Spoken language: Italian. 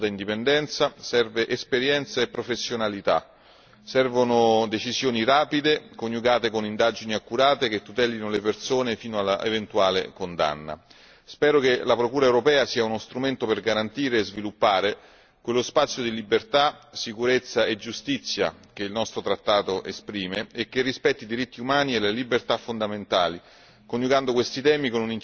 Serve che abbia un carattere di assoluta indipendenza, serve esperienza e professionalità, servono decisioni rapide, coniugate con indagini accurate che tutelino le persone fino all'eventuale condanna. Spero che la procura europea sia uno strumento per garantire e sviluppare quello spazio di libertà, sicurezza e giustizia che il nostro trattato esprime e che rispetti i diritti umani e le libertà fondamentali,